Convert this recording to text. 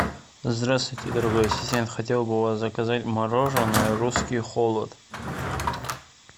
здравствуйте дорогой ассистент хотел бы у вас заказать мороженое русский холод